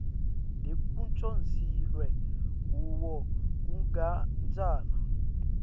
lekucondziswe kuwo kusigatjana